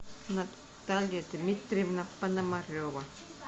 наталья дмитриевна пономарева